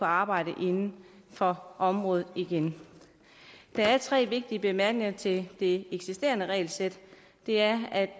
arbejde inden for området igen der er tre vigtige bemærkninger til det eksisterende regelsæt det er at